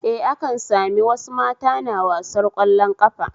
Eh, akan sami wasu mata na wasar ƙwallon ƙafa